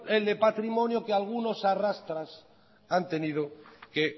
el de patrimonio que algunos a arrastras han tenido que